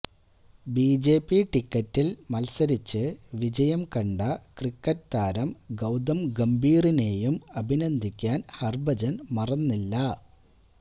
BJP ടിക്കറ്റില് മത്സരിച്ച് വിജയം കണ്ട ക്രിക്കറ്റ് താരം ഗൌതം ഗംഭീറിനേയും അഭിനന്ദിക്കാന് ഹര്ഭജന് മറന്നില്ല